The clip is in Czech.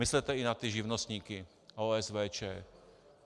Myslete i na ty živnostníky, OSVČ.